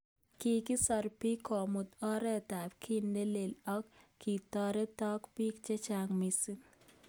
Kikisor bik kobun oret ab ki nelelel ako kitoretok bik chechang missing.